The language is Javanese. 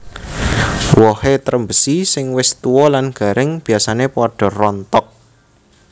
Wohé trembesi sing wis tua lan garing biasané padha rontok